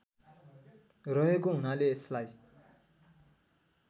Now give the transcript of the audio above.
रहेको हुनाले यसलाई